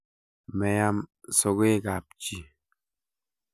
Meam sokeekab chii